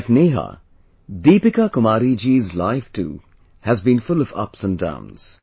Like Neha, Deepika Kumari ji's life too has been full of ups and downs